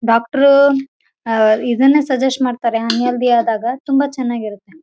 ಇವಾಗಂತೂ ಆಮ್ಲೋಸ್ಟ್ ನಮ್ಮ ಮಲನದಲ್ಲಿ ಎಲ್ಲರ ಮನೆಗಳಲ್ಲಿ ತೆಂಗಿನ ಮರಗಳನ್ನ ಬೆಳೆಸಿತ್ತಾರೆ ತೋಟದಲ್ಲಾಗಿರಬಹುದು ಮನೆಲಾಗಿರಬಹುದು ರೋಡ್ ಸೈಡ್ ತೆಂಗಿನ ಮರಗಳನ್ನ ಬೆಳೆಸಿರ್ತಾರೆ.